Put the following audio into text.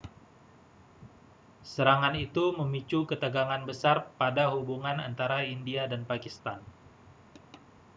serangan itu memicu ketegangan besar pada hubungan antara india dan pakistan